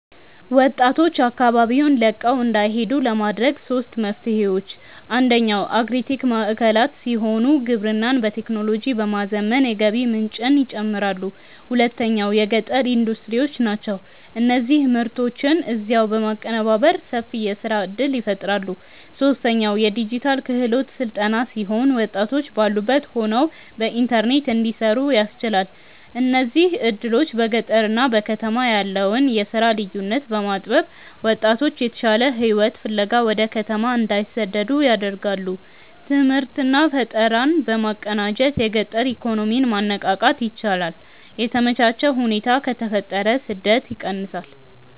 ወጣቶች አካባቢውን ለቀው እንዳይሄዱ ለማድረግ ሦስት መፍትሄዎች፦ አንደኛው አግሪ-ቴክ ማዕከላት ሲሆኑ፣ ግብርናን በቴክኖሎጂ በማዘመን የገቢ ምንጭን ይጨምራሉ። ሁለተኛው የገጠር ኢንዱስትሪዎች ናቸው፤ እነዚህ ምርቶችን እዚያው በማቀነባበር ሰፊ የሥራ ዕድል ይፈጥራሉ። ሦስተኛው የዲጂታል ክህሎት ሥልጠና ሲሆን፣ ወጣቶች ባሉበት ሆነው በኢንተርኔት እንዲሠሩ ያስችላል። እነዚህ ዕድሎች በገጠርና በከተማ ያለውን የሥራ ልዩነት በማጥበብ ወጣቶች የተሻለ ሕይወት ፍለጋ ወደ ከተማ እንዳይሰደዱ ያደርጋሉ። ትምህርትና ፈጠራን በማቀናጀት የገጠር ኢኮኖሚን ማነቃቃት ይቻላል። የተመቻቸ ሁኔታ ከተፈጠረ ስደት ይቀንሳል።